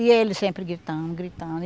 E ele sempre gritando, gritando.